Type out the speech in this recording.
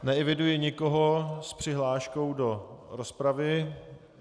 Neeviduji nikoho s přihláškou do rozpravy.